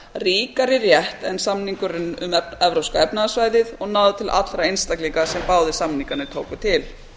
ríkari rétt en samningurinn um evrópska efnahagssvæðið og náði til allra einstaklinga sem báðir samningarnir tóku til